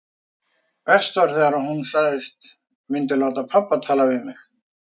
Verst var þegar hún sagðist myndu láta pabba tala við mig.